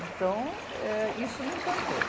Então, eh, isso me encantou.